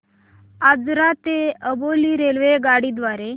आजरा ते अंबोली रेल्वेगाडी द्वारे